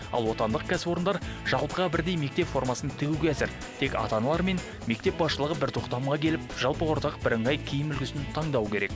ал отандық кәсіпорындар жалпыға бірдей мектеп формасын тігуге әзір тек ата аналар мен мектеп басшылығы бір тоқтамға келіп жалпы ортақ бірыңғай киім үлігісін таңдау керек